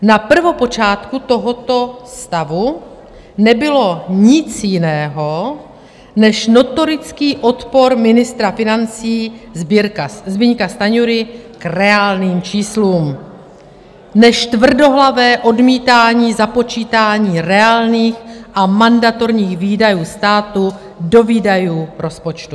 Na prvopočátku tohoto stavu nebylo nic jiného než notorický odpor ministra financí Zbyňka Stanjury k reálným číslům, než tvrdohlavé odmítání započítání reálných a mandatorních výdajů státu do výdajů rozpočtu.